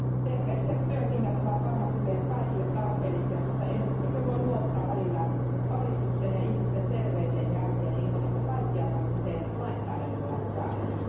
Terveelliset työkengät ovat varmasti meille kaikille tarpeellisia, mutta emmekö voi luottaa välillä valistukseen ja ihmisten terveeseen järkeen ilman, että kaikkia tarvitsee lainsäädännöllä säädellä?